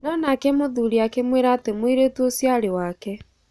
No nake mũthuri akĩmwĩra atĩ mwĩirĩrtu ũcio arĩ wake.